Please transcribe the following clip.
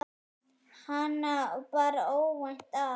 Hana bar óvænt að.